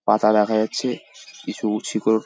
পাতা দেখা যাচ্ছে কিছু শিকড়--